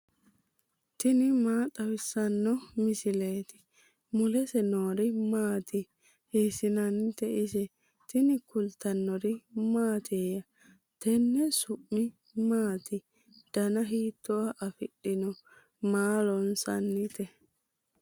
tini maa xawissanno misileeti ? mulese noori maati ? hiissinannite ise ? tini kultannori mattiya? Tenne su'mi maatti? danna hiittoha afidhinno? maa loosanni?